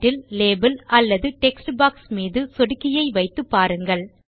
title label அல்லது text box மீது சொடுக்கியை வைத்து பாருங்கள்